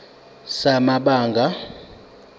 sikazwelonke samabanga r